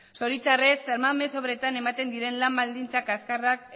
zoritxarrez san mamés obretan ematen diren lan baldintza kaxkarrak